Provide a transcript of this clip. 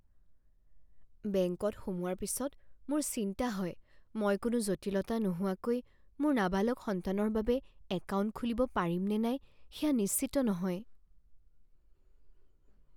বেংকত সোমোৱাৰ পিছত মোৰ চিন্তা হয়, মই কোনো জটিলতা নোহোৱাকৈ মোৰ নাবালক সন্তানৰ বাবে একাউণ্ট খুলিব পাৰিম নে নাই সেয়া নিশ্চিত নহয়।